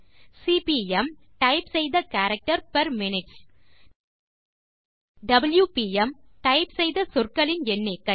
CPM type செய்த character per minutes WPM - type செய்த சொற்களின் எண்ணிக்கை